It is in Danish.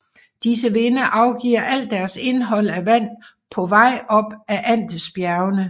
Disse vinde afgiver alt deres indhold af vand på vej op ad Andesbjergene